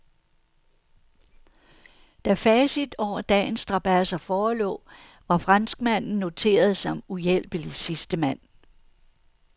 Da facit over dagens strabadser forelå, var franskmanden noteret som uhjælpelig sidstemand.